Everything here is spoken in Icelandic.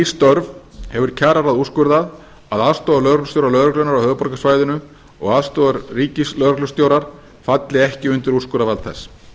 störf hefur kjararáð úrskurðað að aðstoðarlögreglustjórar lögreglunnar á höfuðborgarsvæðinu og aðstoðarríkislögreglustjórar falli ekki undir úrskurðarvald þess